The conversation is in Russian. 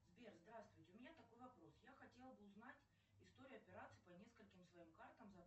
сбер здравствуйте у меня такой вопрос я хотела бы узнать историю операций по нескольким своим картам за